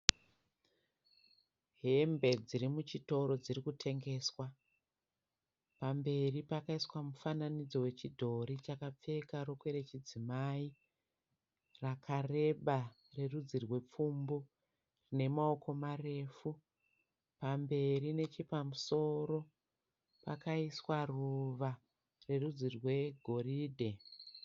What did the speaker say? Hembe dziri muchitoro dziri kutengeswa pamberi pakaiswa mufananidzo wechidhori chakapfeka rokwe richidzimai rakareba rerudzi rwepfumbu nemaoko marefu pamberi nechepamusoro pakaiswa ruva rerudzi rwegoridhe.